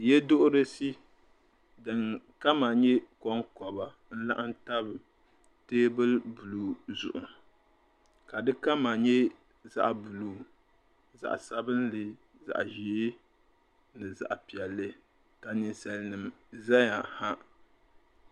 Yeduhurisi din kama nyɛ konkoba n laɣim tam teebuli buluu zuɣu ka di kama nyɛ zaɣa buluu zaɣa sabinli zaɣa ʒee ni zaɣa piɛlli ka ninsalinima zaya ha.